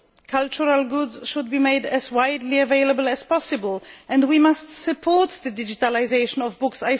Cultural goods should be made as widely available as possible, and we must support the digitalisation of books.